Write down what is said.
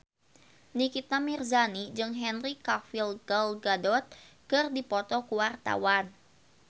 Nikita Mirzani jeung Henry Cavill Gal Gadot keur dipoto ku wartawan